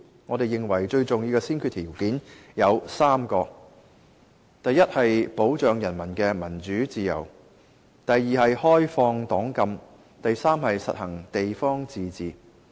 我們認為最重要的先決條件有3個：一是保障人民的民主自由；二是開放黨禁；三是實行地方自治。